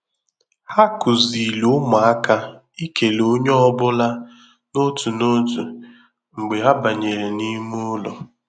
Ha kụziri ụmụaka ikele onye ọ bụla n'otu n'otu mgbe ha banyere n'ime ụlọ.